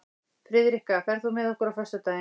Friðrikka, ferð þú með okkur á föstudaginn?